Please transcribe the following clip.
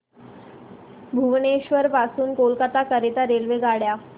भुवनेश्वर पासून कोलकाता करीता रेल्वेगाड्या